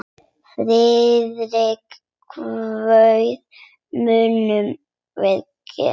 Friðrik kvaðst mundu gera það.